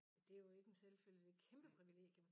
Det jo ikke en selvfølge det' et kæmpe privilegie